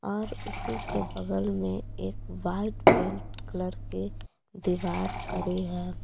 और उसी के बगल में एक वाइट पेंट कलर के दीवार खड़ी है।